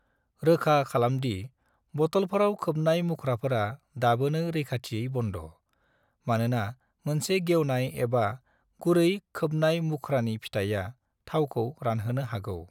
रोखा खालामदि बटलफोराव खोबनाय मुख्राफोरा दाबोनो रैखाथियै बन्द', मानोना मोनसे गेवनाय एबा गुरै खोबनाय मुख्रानि फिथाइआ थावखौ रानहोनो हागौ।